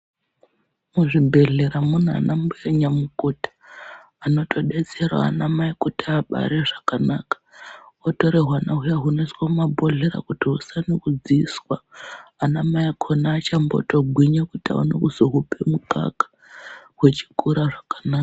Muzvibhedhlera umu munana nyamukuta anotodetserawo ana mai kuti abare zvakanaka otora hwana huyana heoiswe mumabhodhlera kuti asane kudziiswa ana mai akona achambogwinya kuti awane kuhupa mukaka hukure zvakanaka.